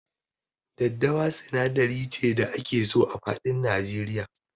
Daddawa sinadari ce da ake so a faɗin Nigeria.